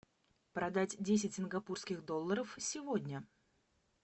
продать десять сингапурских долларов сегодня